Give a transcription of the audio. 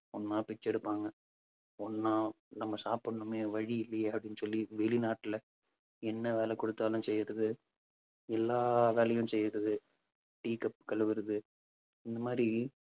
ஒண்ணா பிச்சை எடுப்பாங்க. ஒண்ணா நம்ம சாப்பிடணுமே வழி இல்லையே அப்பிடின்னு சொல்லி வெளிநாட்டுல என்ன வேலை குடுத்தாலும் செய்யறது. எல்லா வேலையும் செய்யறது tea cup கழுவுறது இந்த மாதிரி